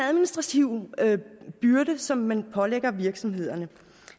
administrative byrde som man pålægger virksomhederne